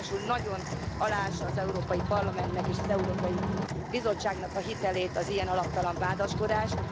Ráadásul nagyon aláássa az Európai Parlamentnek és az Európai Bizottságnak a hitelét az ilyen alaptalan vádaskodás.